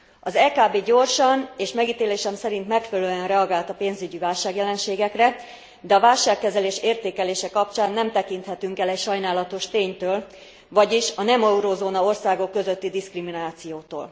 Az EKB gyorsan, és megítélésem szerint megfelelően reagált a pénzügyi jelenségekre, de a válságkezelés értékelése kapcsán nem tekinthetünk el egy sajnálatos ténytől, vagyis a nem eurózóna országok közötti diszkriminációtól.